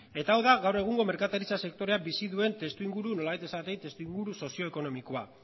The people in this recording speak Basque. eta hau da gaur egungo merkataritzak sektorea bizi duen testuinguru nolabait esatearren sozio ekonomikoa